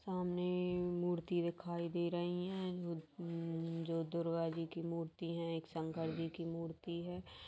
सामने मूर्ति दिखाई दे रही है जो दुर्गा जी की मूर्ति है एक शंकर जी की मूर्ति हैं।